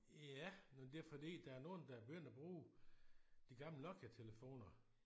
Ja men det er fordi der er nogle der er begyndt at bruge de gamle Nokia-telefoner